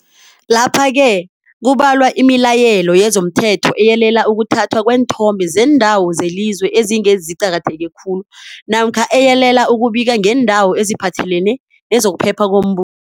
Lapha-ke kubalwa imilayelo yezomthetho eyalela ukuthathwa kweenthombe zeeNdawo zeliZwe ezinge ziQaketheke khulu namkha eyalela ukubika ngeendaba eziphathelene nezokuphepha kombuso.